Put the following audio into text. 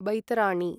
Baitarani